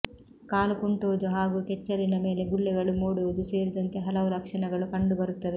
ಕಾಲು ಕುಂಟುವುದು ಹಾಗೂ ಕೆಚ್ಚಲಿನ ಮೇಲೆ ಗುಳ್ಳೆಗಳು ಮೂಡುವುದು ಸೇರಿದಂತೆ ಹಲವು ಲಕ್ಷಣಗಳು ಕಂಡು ಬರುತ್ತವೆ